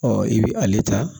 Ɔ i bɛ ale ta